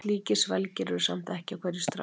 Slíkir svelgir eru samt ekki á hverju strái.